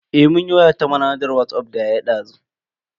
Eh mun yi waya ta manhajar Whatsapp da yaya dazu.